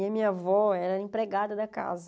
E a minha avó era empregada da casa.